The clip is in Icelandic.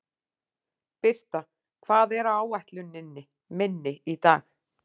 Birta, hvað er á áætluninni minni í dag?